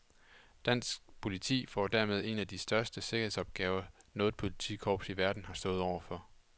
Dansk politi får dermed en af de største sikkerhedsopgaver, noget politikorps i verden har stået overfor.